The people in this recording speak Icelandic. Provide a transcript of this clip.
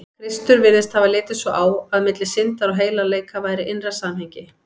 Kristur virðist hafa litið svo á, að milli syndar og heilagleika væri innra samhengi.